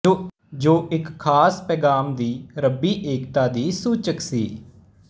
ਜੋ ਇੱਕ ਖਾਸ ਪੈਗ਼ਾਮ ਦੀ ਰੱਬੀ ਏਕਤਾ ਦੀ ਸੂਚਕ ਸੀ